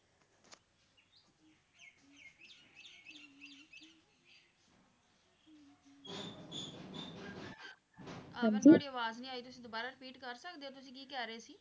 ਅਹ ਮੈਨੂੰ ਤੁਹਾਡੀ ਆਵਾਜ਼ ਨਹੀਂ ਆਈ ਤੁਸੀਂ ਦੁਬਾਰਾ repeat ਕਰ ਸਕਦੇ ਹੋ ਤੁਸੀਂ ਕੀ ਕਹਿ ਰਹੇ ਸੀ